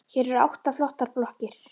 Hér eru átta flottar blokkir.